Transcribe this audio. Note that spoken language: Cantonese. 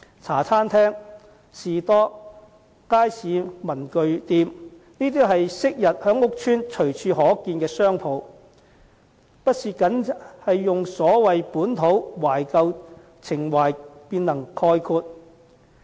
茶餐廳、士多、街坊文具店，也是昔日在屋邨隨處可見的商鋪，並非單純以所謂"本土"、"懷舊"情懷便能概括。